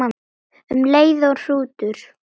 Um leið og hrútur